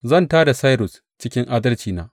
Zan tā da Sairus cikin adalcina.